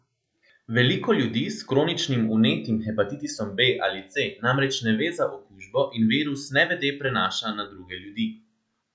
Veliko ljudi s kroničnim vnetnim hepatitisom B ali C namreč ne ve za okužbo in virus nevede prenaša na druge ljudi.